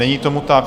Není tomu tak.